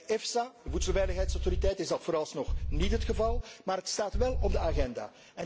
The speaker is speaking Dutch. Bij EFSA, de Voedselveiligheidsautoriteit, is dat vooralsnog niet het geval, maar het staat wel op de agenda.